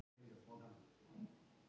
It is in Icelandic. Sérðu ekki gangbrautina þarna?